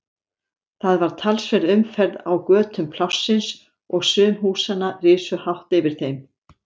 Það var talsverð umferð á götum Plássins og sum húsanna risu hátt yfir þeim.